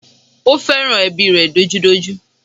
Ó fẹ́ràn ẹbí rẹ̀ dojúdojú